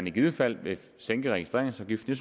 i givet fald sænke registreringsafgiften